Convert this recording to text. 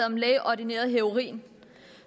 om lægeordineret heroin